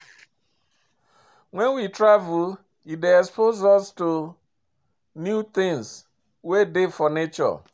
When we travel, e dey expose us to new things wey dey for nature